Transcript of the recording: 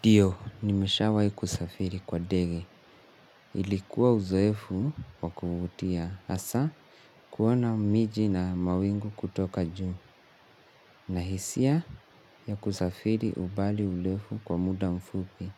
Ndio, nimeshawahi kusafiri kwa ndege. Ilikuwa uzoefu wa kuvutia. Hasa, kuona miji na mawingu kutoka juu. Na hisia ya kusafiri umbali mrefu kwa muda mfupi.